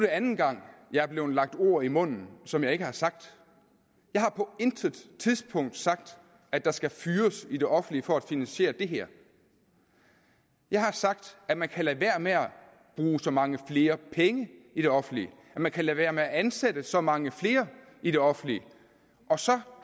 anden gang jeg er blevet lagt ord i munden som jeg ikke har sagt jeg har på intet tidspunkt sagt at der skal fyres i det offentlige for at finansiere det her jeg har sagt at man kan lade være med at bruge så mange flere penge i det offentlige at man kan lade være med at ansætte så mange flere i det offentlige og så